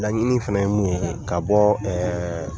Laɲini fana ye mun ye ka bɔ